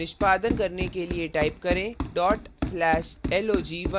निष्पादन करने के लिए type करें/log1